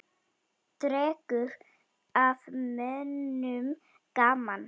Dregur af mönnum gaman.